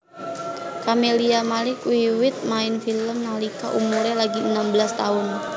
Camelia Malik wiwit main film nalika umuré lagi enem belas taun